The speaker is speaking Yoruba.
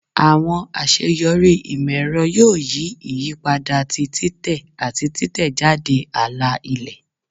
Awọn aṣeyọri imọ-ẹrọ yoo yi iyipada ti titẹ ati titẹjade ala-ilẹ